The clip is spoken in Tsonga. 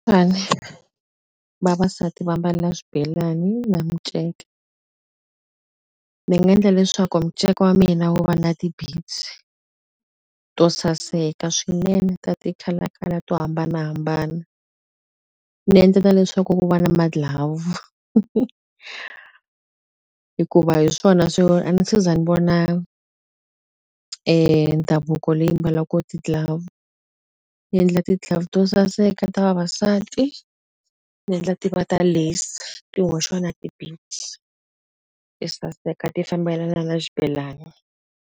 vavasati vambala swibelani na minceka ni nga endla leswaku muceka wa mina wu va na to saseka swinene ta ti-color color to hambanahambana ni endla na leswaku ku va na ma-glove hikuva hi swona swo a ni se za ni vona ndhavuko leyi mbalaku ti-glove ni endla tiglove to saseka ta vavasati ni endla ti va ta ti hoxiwa na ti saseka ti fambelana na xibelani.